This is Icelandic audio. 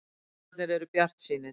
Læknarnir eru bjartsýnir.